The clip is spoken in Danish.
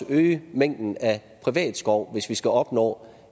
øge mængden af privat skov hvis vi skal opnå